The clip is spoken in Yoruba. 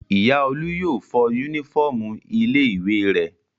Ìyá Olú yóò fọ únífọ́ọ́mù ilé-ìwé rẹ̀.